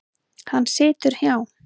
Hann situr hjá